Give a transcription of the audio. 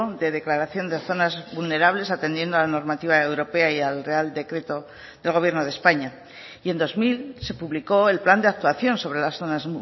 de declaración de zonas vulnerables atendiendo a la normativa europea y al real decreto del gobierno de españa y en dos mil se publicó el plan de actuación sobre las zonas